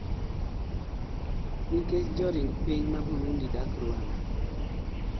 nikech joring piny ma Burundi dak Rwanda?